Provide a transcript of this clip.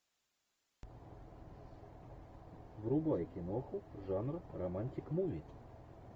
врубай киноху жанра романтик муви